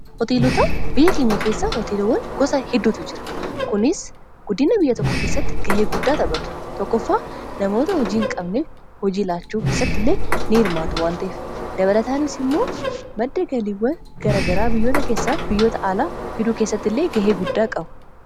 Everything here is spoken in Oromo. hooteelota biyya keenya keessaa hooteelowwan gosa hidduutu jira kunis guddina biyya tokko keessatti gahee guddaa taphatu tokko ffaa namoota hojii hin qabnee hojiilaachuu keessatti illee n hirmaatu wanta'ef dabalataanis immoo baddagaliiwwan garagaraa biyyoota keessaaf biyyoota aalaa hiduu keessatti illee gahee guddaa qabu